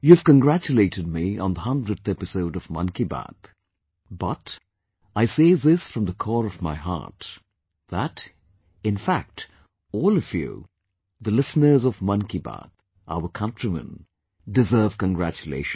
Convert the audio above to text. You have congratulated me on the 100th episode of 'Mann Ki Baat', but I say this from the core of my heart,...that in fact, all of you, the listeners of 'Mann Ki Baat', our countrymen, deserve congratulations